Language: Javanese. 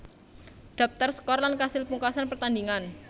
Dhaptar skor lan kasil pungkasan pertandhingan